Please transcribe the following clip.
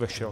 Vešel.